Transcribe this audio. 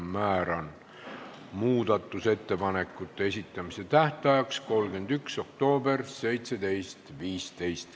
Määran muudatusettepanekute esitamise tähtajaks 31. oktoobri kell 17.15.